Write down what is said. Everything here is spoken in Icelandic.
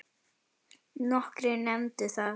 Nokkrir nefndu það.